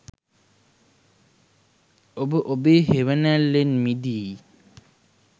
ඔබ ඔබෙ හෙවනැල්ලෙන් මිදී